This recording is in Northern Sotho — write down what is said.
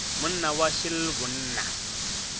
monna wa š le bonna